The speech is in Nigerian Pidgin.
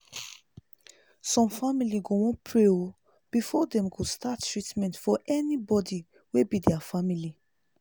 some family go wan pray o before dem go start treatment for anybody wey be their family